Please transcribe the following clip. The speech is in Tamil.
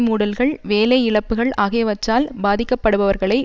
மூடல்கள் வேலை இழப்புக்கள் ஆகியவற்றால் பாதிக்கப்படுபவர்களை